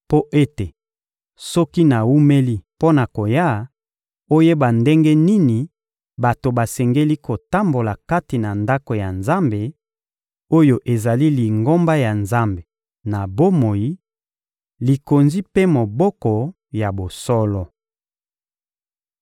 mpo ete, soki nawumeli mpo na koya, oyeba ndenge nini bato basengeli kotambola kati na Ndako ya Nzambe, oyo ezali Lingomba ya Nzambe na bomoi, likonzi mpe moboko ya bosolo.